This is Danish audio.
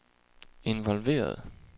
involveret